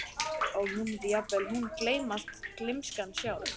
Og nú mundi jafnvel hún gleymast, gleymskan sjálf.